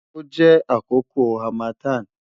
o jẹ akoko harmattan